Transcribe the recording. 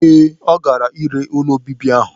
Ee, ọ ga-ere ụlọ obibi ahụ.